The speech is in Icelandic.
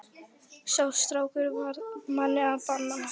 Sá strákur varð manni að bana.